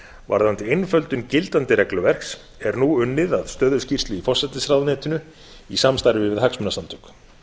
varðandi einföldun gildandi regluverks er nú unnið að stöðuskýrslu í forsætisráðuneytinu í samstarfi við hagsmunasamtök